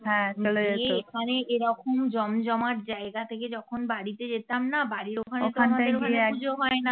অরে এখানে এরকম জমজমাট জায়গা থেকে বাড়িতে যেতাম না বাড়ির ওখানে তো পুজো হয় না